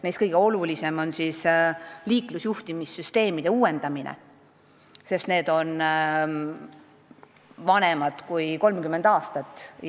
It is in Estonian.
Neist kõige olulisem on liiklusjuhtimissüsteemide uuendamine, sest need on vanemad kui 30 aastat.